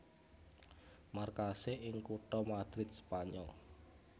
Markasé ing kutha Madrid Spanyol